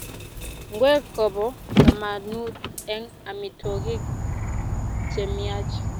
Ngwek kopo kamanut eng amitwogik chemiach